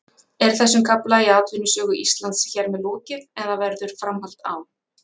Er þessum kafla í atvinnusögu Íslands hér með lokið eða verður framhald á?